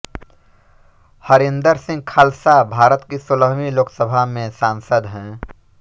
हरिंदर सिंह खालसा भारत की सोलहवीं लोकसभा में सांसद हैं